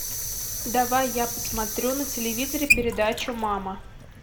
давай я посмотрю на телевизоре передачу мама